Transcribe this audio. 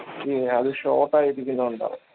ഈ അത് short ആയിരിക്കുന്നുണ്ടാവാം